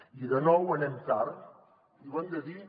i de nou anem tard i ho hem de dir